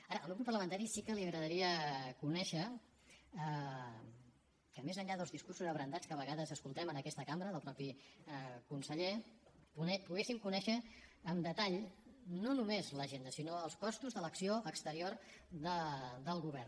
ara al meu grup parlamentari sí que li agradaria conèixer que més enllà dels discursos abrandats que a vegades escoltem en aquesta cambra del mateix conseller poguéssim conèixer amb detall no només l’agenda sinó els costos de l’acció exterior del govern